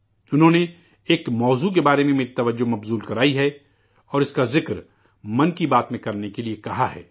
انہوں نے، ایک موضوع کے بارے میں میری توجہ مبذول کرائی ہے اور اس کا ذکر 'من کی بات' میں کرنے کے لیے کہا ہے